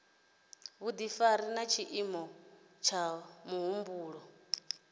vhudifari na tshiimo tsha muhumbulo